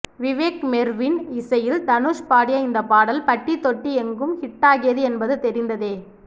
விவேக் மெர்வின் இசையில் தனுஷ் பாடிய இந்த பாடல் பட்டிதொட்டியெங்கும் ஹிட்டாகியது என்பது தெரிந்ததே